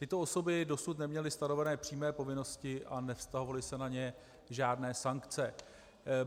Tyto osoby dosud neměly stanoveny přímé povinnosti a nevztahovaly se na ně žádné sankce.